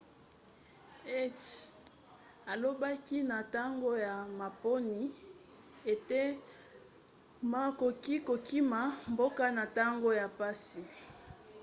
hsieh alobaki na ntango ya maponi ete ma akoki kokima mboka na ntango ya mpasi